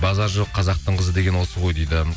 базар жоқ қазақтың қызы деген осы ғой дейді